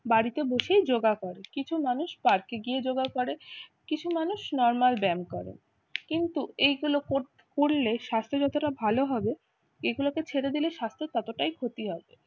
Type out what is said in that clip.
বাড়িতে বসেই যোগা করে, কিছু মানুষ পার্কে গিয়ে যোগা করে, কিছু মানুষ nomal ব্যায়াম করে কিন্তু এইগুলো কর করলে স্বাস্থ্য যতটা ভালো হয় হবে এগুলোকে ছেড়ে দিলে স্বাস্থ্য ততটাই ক্ষতি হবে।